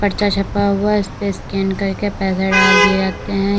र्चा छपा हुआ है ईस पे स्कैन करके पैसा डाल दिए जाते हैं यहां--